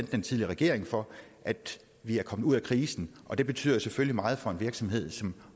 den tidligere regering for at vi er kommet ud af krisen og det betyder selvfølgelig meget for en virksomhed som